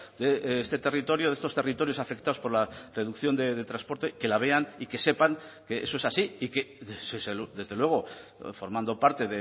de este territorio de estos territorios afectados por la reducción de transporte que la vean y que sepan que eso es así y que desde luego formando parte